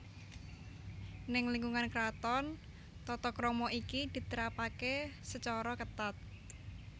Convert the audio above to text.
Neng lingkungan kraton tata krama iki diterapake sacara ketat